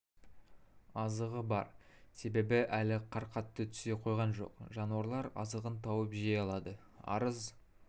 азығы бар себебі әлі қар қатты түсе қойған жоқ жануарлар азығын тауып жей алады арыз